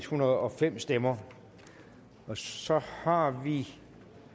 hundrede og fem stemmer så har vi